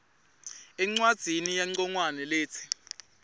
encwadzini yancongwane letsi